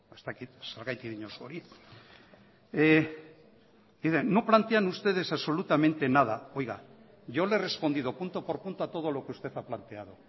ez dakit zergatik diozu hori dice no plantean ustedes absolutamente nada oiga yo le he respondido punto por punto a todo lo que usted ha planteado